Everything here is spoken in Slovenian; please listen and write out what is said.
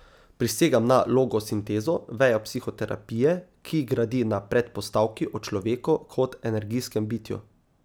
Prisegam na logosintezo, vejo psihoterapije, ki gradi na predpostavki o človeku kot energijskem bitju.